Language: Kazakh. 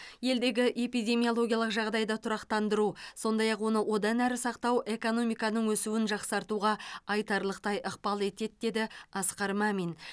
елдегі эпидемиологиялық жағдайды тұрақтандыру сондай ақ оны одан әрі сақтау экономиканың өсуін жақсартуға айтарлықтай ықпал етеді деді асқар мәмин